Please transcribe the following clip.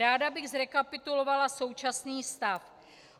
Ráda bych zrekapitulovala současný stav.